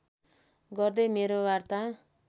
गर्दै मेरो वार्ता